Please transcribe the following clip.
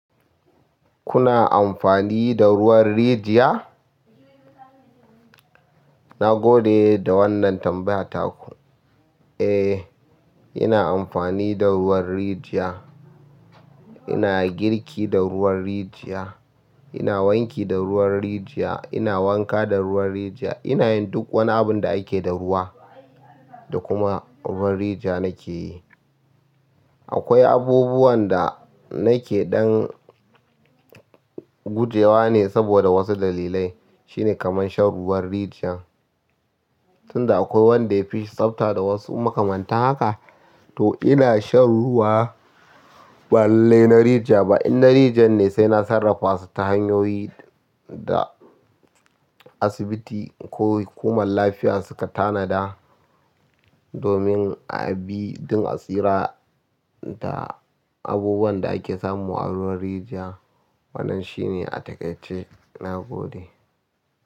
Kuna amfani da ruwan rijiya? Na gode da wannan tambaya taku. Eh, ina amfani da ruwan rijiya. Ina girki da ruwan rijiya. Ina wanki da ruwan rijiya. Ina wanka da ruwan rijiya. Ina yin duk wani abun da ake da ruwa da kuma ruwan rijiya nake yi. Akwai abubuwan da nake ɗan gujewa ne saboda wasu dalilai. Shine kamar shan ruwan rijiya. Tun da akwai wanda ya fi tsabta da wasu makamanta haka, to ina shan ruwa balle na rijiya ba. In na rijiyar ne sai na sarrafasu ta hanyoyi da asibiti ko hukumar lafiya suka tanada domin abi don tsira da abubuwan da ake samu a ruwan rijiya. Wannan shine a takaice, na gode.